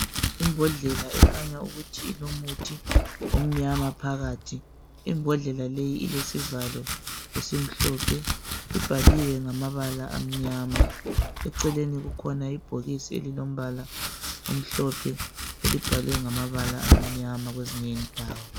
Imbhodlela ekhanya ukuthi ilomuthi omnyama phakathi imbhodlela leyi ilesivalo esimhlophe ibhaliwe ngamabala amnyama eceleni kukhona ibhokisi elilombala omhlophe elibhalwe ngamabala amnyama kwezinye indawo